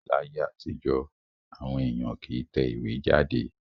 Láyé àtijọ́, àwọn èèyàn kì í tẹ ìwé jáde